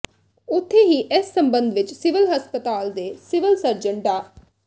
ਉਥੇ ਹੀ ਇਸ ਸਬੰਧ ਵਿਚ ਸਿਵਲ ਹਸਪਤਾਲ ਦੇ ਸਿਵਲ ਸਰਜਨ ਡਾ